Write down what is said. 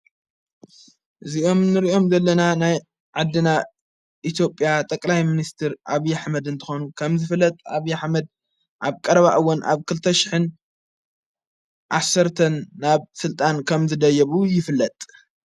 እዚኦም ንርእኦም ዘለና ናይ ዓድና ኢቲጴያ ጠቀላይ ምንስትር ኣብ ዪሕመድ እንተኾኑ ከም ዝፍለጥ ኣብ ያኅመድ ኣብ ቀረባእወን ኣብ ክልተሽሕን ዓሠርተን ናብ ሥልጣን ከም ዝደየቡ ይፍለጥ።